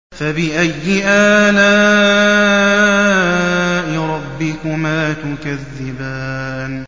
فَبِأَيِّ آلَاءِ رَبِّكُمَا تُكَذِّبَانِ